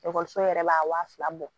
Ekɔliso yɛrɛ b'a wa fila bɔ